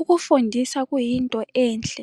Ukufundisa kuyinto enhle